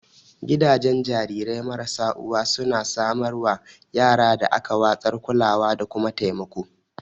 Gidajen jarirai marasa uwa suna samar wa yaran da aka watsar kulawa da kuma taimako